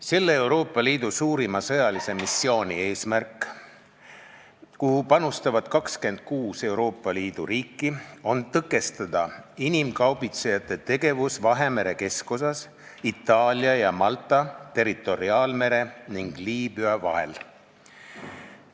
Selle Euroopa Liidu suurima sõjalise missiooni eesmärk, kuhu panustavad 26 Euroopa Liidu riiki, on tõkestada inimkaubitsejate tegevust Vahemere keskosas, Itaalia ja Malta territoriaalmere ning Liibüa vahel.